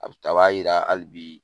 A bi taa ,a b'a yira halibi